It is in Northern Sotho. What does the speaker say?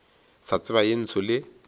sa tseba ye ntsho le